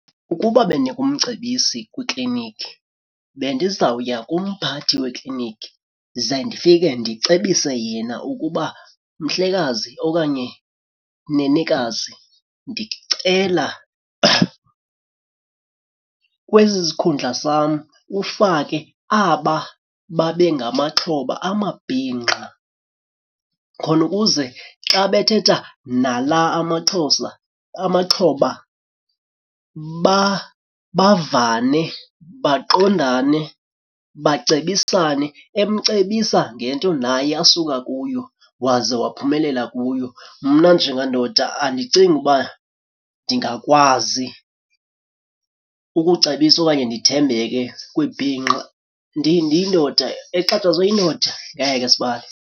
Ukuba bendingumcebisi kwikliniki bendizawuya kumphathi wekliniki ze ndifike ndicebise yena ukuba mhlekazi okanye nenekazi, ndicela kwesi sikhundla sam ufake aba babe ngamaxhoba amabhinqa. Khona ukuze xa bethetha nala amaXhosa amaxhoba bavane baqondane bacebisane, emcebisa ngento naye asuka kuyo waze waphumelela kuyo. Mna njengandoda andicingi uba ndingakwazi ukucebisa okanye ndithembeke kwibhinqa ndiyindoda exhatshazwe yindoda. Ngeke sibali.